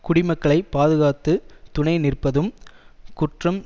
குடிமக்களைப் பாதுகாத்துத் துணை நிற்பதும் குற்றம்